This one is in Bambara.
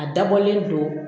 A dabɔlen don